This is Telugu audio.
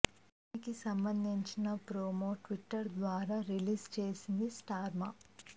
దీనికి సంబంధించిన ప్రొమో ట్విట్టర్ ద్వారా రిలీజ్ చేసింది స్టార్ మా